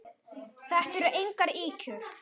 Þetta eru engar ýkjur.